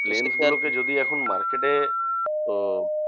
Planes গুলোকে যদি এখন market এ আহ